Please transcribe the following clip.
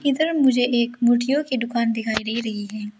इधर मुझे एक मूर्तियों की दुकान दिखाई दे रही है।